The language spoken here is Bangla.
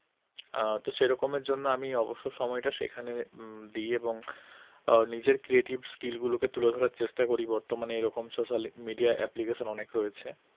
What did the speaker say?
আহ তো সেরকম এর জন্য আমি অবসর সময়টা সেখানে দিই এবং নিজের creative skill গুলোকে তুলে ধরার চেষ্টা করি বর্তমানে এইরকম social media application অনেক রয়েছে